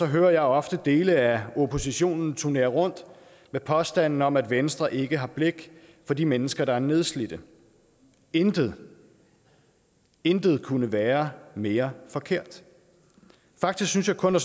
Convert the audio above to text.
hører jeg ofte dele af oppositionen turnere rundt med påstanden om at venstre ikke har blik for de mennesker der er nedslidte intet intet kunne være mere forkert faktisk synes jeg kun at